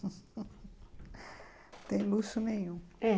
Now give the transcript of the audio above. Não tem luxo nenhum, é.